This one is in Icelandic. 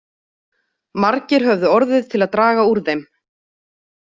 Margir höfðu orðið til að draga úr þeim.